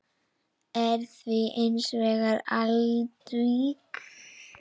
er því hins vegar andvíg.